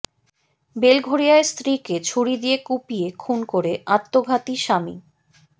বেলঘরিয়ায় স্ত্রীকে ছুরি দিয়ে কুপিয়ে খুন করে আত্মঘাতী স্বামী